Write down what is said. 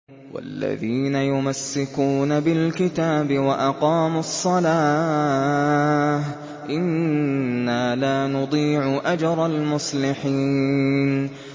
وَالَّذِينَ يُمَسِّكُونَ بِالْكِتَابِ وَأَقَامُوا الصَّلَاةَ إِنَّا لَا نُضِيعُ أَجْرَ الْمُصْلِحِينَ